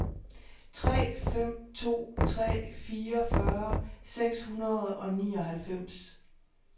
tre fem to tre fireogfyrre seks hundrede og nioghalvfems